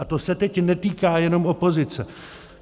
A to se teď netýká jenom opozice.